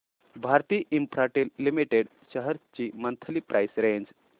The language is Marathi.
भारती इन्फ्राटेल लिमिटेड शेअर्स ची मंथली प्राइस रेंज